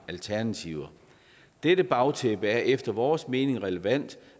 alternativer dette bagtæppe er efter vores mening relevant